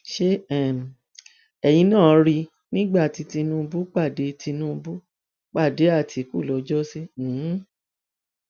ṣé um ẹyin náà rí i nígbà tí tinúbù pàdé tinúbù pàdé àtìkù lọjọ sí um